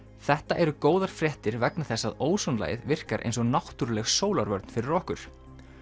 þetta eru góðar fréttir vegna þess að ósonlagið virkar eins og náttúruleg sólarvörn fyrir okkur